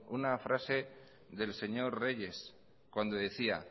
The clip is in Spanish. una frase del señor reyes cuando decía